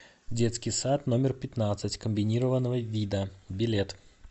детский сад номер пятнадцать комбинированного вида билет